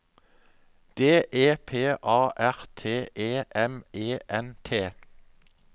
D E P A R T E M E N T